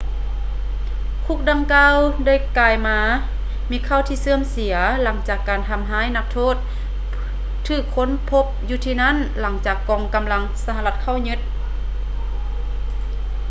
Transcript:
ຄຸກດັ່ງກ່າວ ໄດ້ກາຍມາມີຂ່າວທີ່ເສື່ອມເສຍ ຫຼັງຈາກການທຳຮ້າຍນັກໂທດຖືກຄົ້ນພົບຢູ່ທີ່ນັ້ນ ຫຼັງຈາກກອງກຳລັງສະຫະລັດເຂົ້າຍຶດ